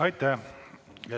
Aitäh!